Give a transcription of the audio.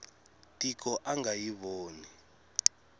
tiko a nga yi voni